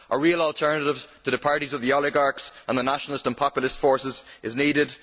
A real alternative to the parties of the oligarchs and the nationalist and populist forces is needed.